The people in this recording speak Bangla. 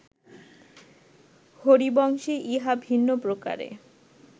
হরিবংশে ইহা ভিন্নপ্রকারে